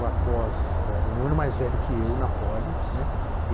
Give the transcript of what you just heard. Após eh, um ano mais velho que eu na Poli, né.